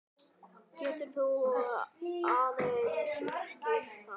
Getur þú aðeins útskýrt það?